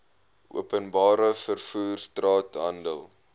openbare vervoer straathandel